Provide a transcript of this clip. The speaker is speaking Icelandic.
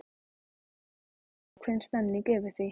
Það er alltaf ákveðin stemmning yfir því.